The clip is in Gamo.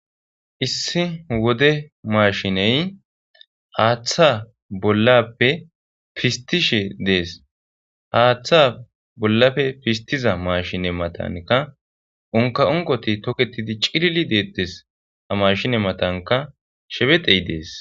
Issi wode mashiney haaththa bollappe pistishe dees haaththa bollafe pistiza mashine matanka unka onqoti toketidi cilli deettes a mashine matanka shebexey dees